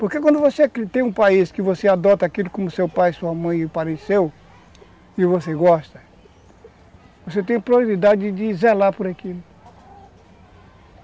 Porque quando você tem um país que você adota aquilo como seu pai e sua mãe apareceu e você gosta, você tem a probabilidade de zelar por aquilo.